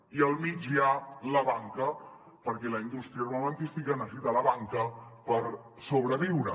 i al mig hi ha la banca perquè la indústria armamentística necessita la banca per sobreviure